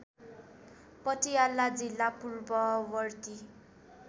पटियाला जिल्ला पूर्ववर्ती